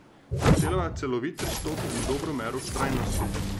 Zahteva celovit pristop in dobro mero vztrajnosti.